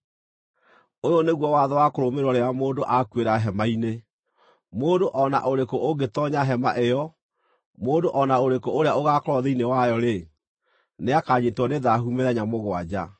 “Ũyũ nĩguo watho wa kũrũmĩrĩrwo rĩrĩa mũndũ akuĩra hema-inĩ: Mũndũ o na ũrĩkũ ũngĩtoonya hema ĩyo, mũndũ o na ũrĩkũ ũrĩa ũgaakorwo thĩinĩ wayo-rĩ, nĩakanyiitwo nĩ thaahu mĩthenya mũgwanja,